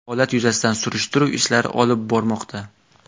Holat yuzasidan surishtiruv ishlari olib bormoqda.